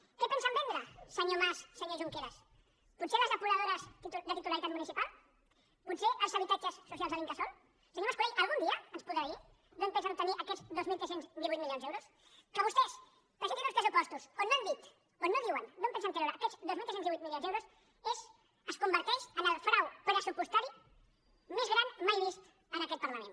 què pensen vendre senyor mas i senyor junqueras potser les depuradores de titularitat municipal potser els habitatges socials de l’incasòl senyor mas colell algun dia es podrà dir d’on pensen obtenir aquests dos mil tres cents i divuit milions d’euros que vostès presentin uns pressupostos on no han dit on no diuen d’on pensen treure aquests dos mil tres cents i divuit milions d’euros es converteix en el frau pressupostari més gran mai vist en aquest parlament